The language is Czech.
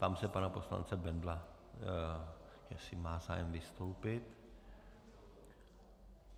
Ptám se pana poslance Bendla, jestli má zájem vystoupit.